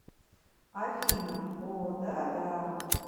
афина о да да